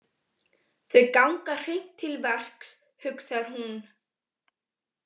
Þau ganga hreint til verks, hugsar hún.